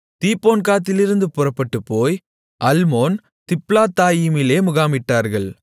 தீபோன்காத்திலிருந்து புறப்பட்டுப்போய் அல்மோன் திப்லத்தாயிமிலே முகாமிட்டார்கள்